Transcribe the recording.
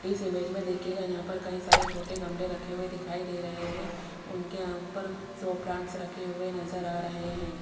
इस इमेज में देखिएगा यहां पर कई सारे छोटे गमले रखे हुए दिखाई दे रहे हैं उनके ऊपर सौ प्लांट्स रखे हुए नजर आ रहे हैं।